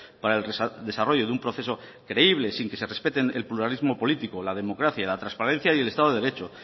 para el desarrollo de un proceso creíble sin que se respeten el pluralismo político la democracia la transparencia y el estado de derecho